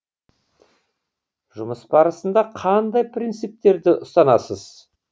жұмыс барысында қандай принциптерді ұстанасыз